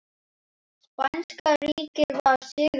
Spænska ríkið var sigrað.